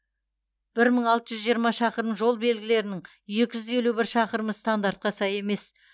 бір мың алты жүз жиырма шақырым жол белгілерінің екі жүз елу бір шақырымы стандартқа сай емес